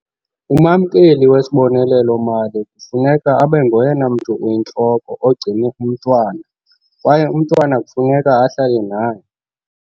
Umamkeli wesibonelelo-mali kufuneka abe ngoyena mntu uyintloko ogcine umntwana kwaye umntwana kufuneka ahlale naye.